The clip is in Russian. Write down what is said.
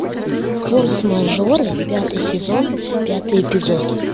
форс мажоры пятый сезон пятый эпизод